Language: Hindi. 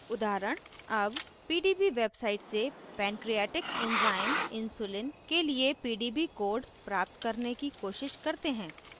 उदाहरण: as pdb website से पैन्क्रीऐटिक enzyme insulin के लिए pdb code प्राप्त करने की कोशिश करते हैं